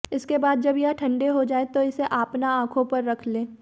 इसके बाद जब यह ठंडे हो जाए तो इसे आपना आंखों पर रख लें